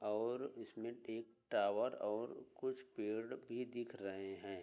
और इसमें एक टावर और कुछ पेड़ भी दिख रहे हैं।